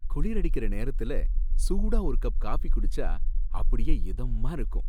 குளிரடிக்கற நேரத்துல சூடா ஒரு கப் காஃப்பி குடிச்சா அப்படியே இதமா இருக்கும்